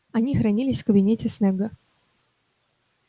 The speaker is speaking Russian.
они хранились в кабинете снегга